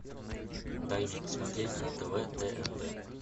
дай мне посмотреть на тв тнт